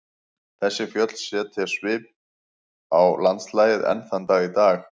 Þessi fjöll setja mikinn svip á landslagið enn þann dag í dag.